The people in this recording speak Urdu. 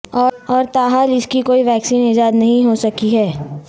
اور تاحال اس کی کوئی ویکسین ایجاد نہیں ہو سکی ہے